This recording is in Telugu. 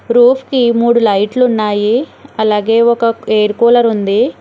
రూఫ్కి మూడు లైట్లు ఉన్నాయి అలాగే ఒక ఎయిర్ కూలర్ ఉంది.